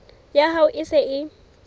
ya hao e se e